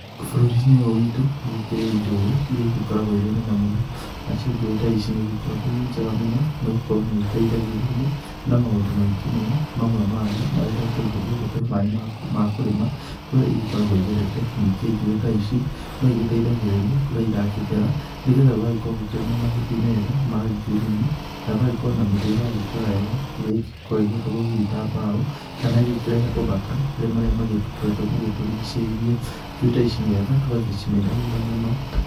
Bũrũri-ĩnĩ ũyũ witũ, nĩgũkĩri njũĩ, ĩrĩa ĩgĩkorogwo ĩrĩ nene mũno, nacĩo njũĩ ta ici nĩ igĩkoragwo ĩrĩ njega mũno, nigũkorwo nĩ iteithagĩrĩrĩa na maũndũ maingĩ mũno, mamwe mamo marĩ ta gũteithĩrĩria gũtũhe maĩ ma kũrĩma, kũrĩa igĩkoragwo ĩgerete, ningĩ njuĩ ta ici no igĩteithagĩrĩria kurĩa ĩrakĩgera nĩgetha gũgagĩkorwo gũkĩrĩ na mahũtĩ mega ma ngirini na gũgakorwo na mĩtĩ iragĩkũra wega ĩrĩa ĩngĩkorwo ĩgĩatũrwo hihi ta mbaũ, kana ĩgĩkĩrehe ũthaka harĩ marĩa magĩkoretwo magĩtũrigicĩirie, njũĩ ta ici nĩ wega tugagĩcimenyagĩrĩra mũno